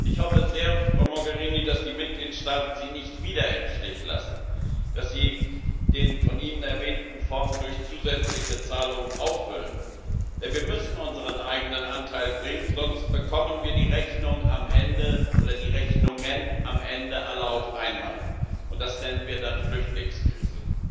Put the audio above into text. Ich hoffe sehr, Frau Mogherini, dass die Mitgliedstaaten Sie nicht wieder im Stich lassen, dass sie den von Ihnen erwähnten Fonds durch zusätzliche Zahlungen auffüllen. Denn wir müssen unseren eigenen Anteil bringen, sonst bekommen wir die Rechnungen am Ende alle auf einmal, und das nennen wir dann Flüchtlingskrise.